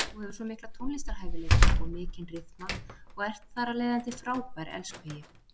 Þú hefur svo mikla tónlistarhæfileika og mikinn ryþma og ert þar af leiðandi frábær elskhugi.